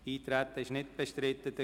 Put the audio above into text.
– Das Eintreten ist nicht bestritten.